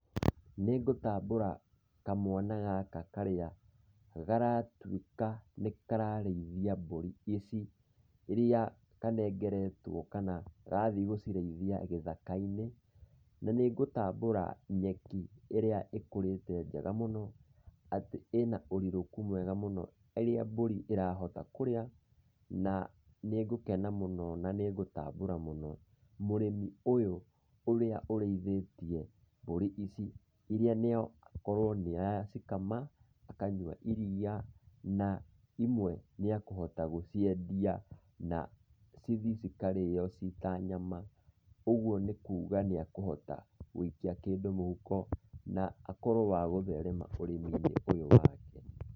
Nĩngũtambũra kamwana gaka karĩa garatuĩka nĩ kararĩithia mbũri ici, iria kanengeretwo kana gathiĩ gũcirĩithia gĩthaka-inĩ. Na nĩngũtambũra nyeki ĩrĩa ĩkũrĩte njega mũno, atĩ ĩna ũrirũku mwega mũno, ĩrĩa mbũri ĩrahota kũrĩa na nĩ ngũkena mũno na nĩ ngũtambũra mũno mũrĩmi ũyũ ũrĩa ũrĩithĩtie mbũri ici, iria noakorwo nĩ aracikama, akanyua iria na imwe nĩekũhota gũciendia na cithi cikarĩo cita nyama. Ũguo nĩ kuga nĩekũhota gũikia kĩndũ mũhuko na akorwo wa gũtherema ũrĩmi-inĩ ũyũ wake.